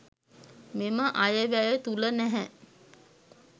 මෙම අයවැය තුළ නැහැ.